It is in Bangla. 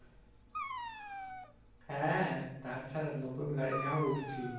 হ্যাঁ তাছাড়া নতুন গাড়ি নিয়ে এখন উরছি।